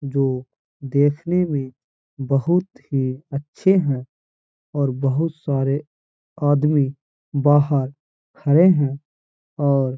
जो देखने में बहोत ही अच्छे हैं और बहोत सारे आदमी बाहर खड़े हैं और --